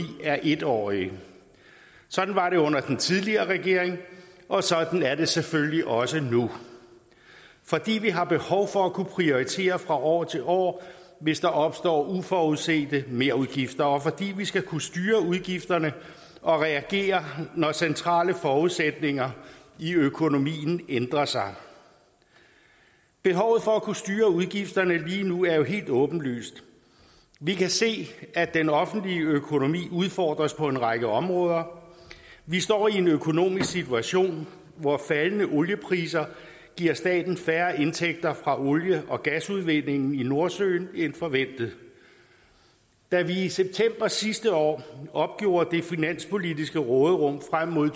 er en årige sådan var det under den tidligere regering og sådan er det selvfølgelig også nu fordi vi har behov for at kunne prioritere fra år til år hvis der opstår uforudsete merudgifter og fordi vi skal kunne styre udgifterne og reagere når centrale forudsætninger i økonomien ændrer sig behovet for at kunne styre udgifterne lige nu er jo helt åbenlyst vi kan se at den offentlige økonomi udfordres på en række områder vi står i en økonomisk situation hvor faldende oliepriser giver staten færre indtægter fra olie og gasudvindingen i nordsøen end forventet da vi i september sidste år opgjorde det finanspolitiske råderum frem mod